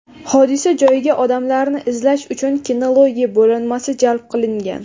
Hodisa joyiga odamlarni izlash uchun kinologiya bo‘linmasi jalb qilingan.